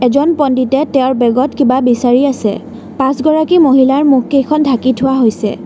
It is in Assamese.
জন পণ্ডিতে তেওঁৰ বেগ ত কিবা বিচাৰি আছে পাঁচগৰাকী মহিলাৰ মুখ কেইখন ঢাকি থোৱা হৈছে।